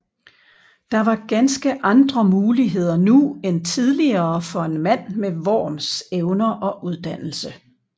Der var ganske andre muligheder nu end tidligere for en mand med Worms evner og uddannelse